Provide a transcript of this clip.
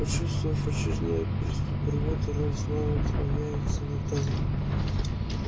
почувствовав очередной приступ рвоты рон снова склоняется над тазом